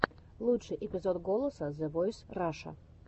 лучший эпизод голоса зэ войс раша